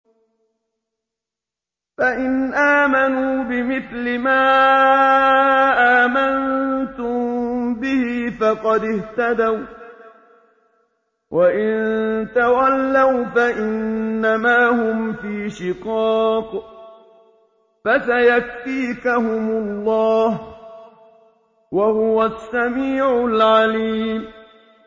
فَإِنْ آمَنُوا بِمِثْلِ مَا آمَنتُم بِهِ فَقَدِ اهْتَدَوا ۖ وَّإِن تَوَلَّوْا فَإِنَّمَا هُمْ فِي شِقَاقٍ ۖ فَسَيَكْفِيكَهُمُ اللَّهُ ۚ وَهُوَ السَّمِيعُ الْعَلِيمُ